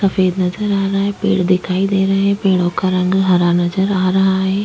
सफ़ेद नजर आ रहा है पेड़ दिखाई दे रहे है पेड़ो का रंग हरा नज़र आ रहा है।